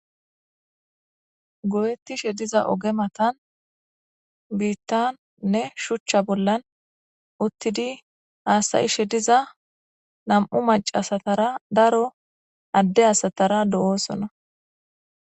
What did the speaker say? go7ettishe diza oge matan biittannne shuchcha bollan uttidi haasayishe diza nam7u macasatara daro adde asatara do7oosona